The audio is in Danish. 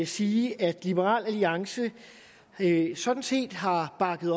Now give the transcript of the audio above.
sige at liberal alliance hele sådan set har bakket